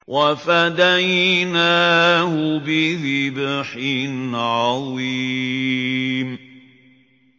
وَفَدَيْنَاهُ بِذِبْحٍ عَظِيمٍ